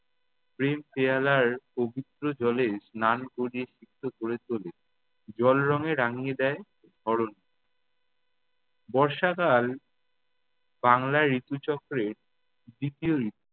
প্রেম পেয়ালার পবিত্র জলে স্নান করিয়ে সিক্ত ক'রে তোলে। জলরঙে রাঙিয়ে দেয় ধরণী। বর্ষাকাল বাংলায় ঋতুচক্রের দ্বিতীয় ঋতু।